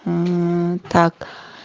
мм так